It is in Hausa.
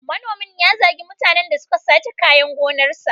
Manomin ya zagi mutanen da suka sace kayan gonarsa.